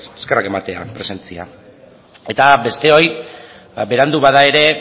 eskerrak ematea presentzia eta besteoi ba berandu bada ere